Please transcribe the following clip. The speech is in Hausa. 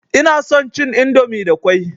Ina son cin indomi da ƙwai.